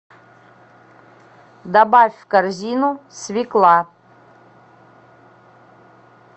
добавь в корзину свекла